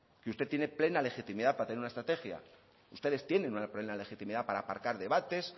y usted tiene plena legitimidad para tener una estrategia ustedes tienen plena legitimidad para aparcar debates